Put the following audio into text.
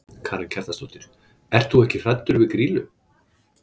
Karen Kjartansdóttir: Ert þú ekkert hræddur við Grýlu?